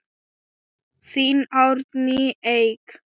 Þín Árný Eik.